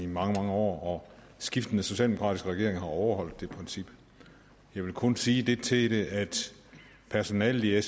mange år og skiftende socialdemokratiske regeringer har overholdt det princip jeg vil kun sige det til det at personalet i